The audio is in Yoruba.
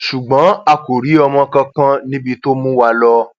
ṣùgbọn a kò rí ọmọ kankan níbi tó mú wa lọ